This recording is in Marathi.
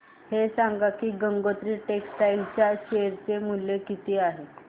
हे सांगा की गंगोत्री टेक्स्टाइल च्या शेअर चे मूल्य काय आहे